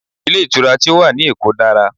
Ilé ìtura tí ó wà ní èkó dára